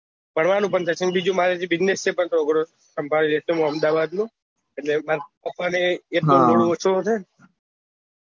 ફરવાનું પણ અને મારે ત્યાં business છે થોડો ગણો સંભાળી લઇશું હું અહેમદાબાદ નું પપ્પા ને એટલો loud ઓછો રે